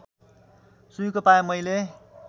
सुइँको पाएँ मैले